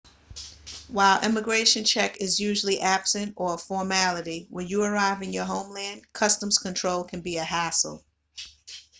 while immigration check is usually absent or a formality when you arrive in your homeland customs control can be a hassle